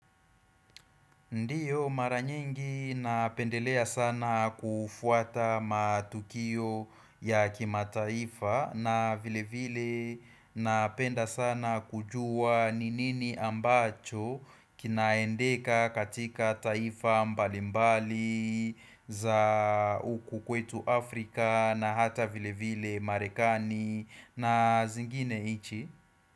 Ndiyo maranyingi napendelea sana kufuata matukio ya kimataifa na vile vile napenda sana kujua ni nini ambacho kinaendeka katika taifa mbalimbali za huku kwetu Afrika na hata vile vile marekani na zingine nchi.